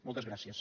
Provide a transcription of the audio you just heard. moltes gràcies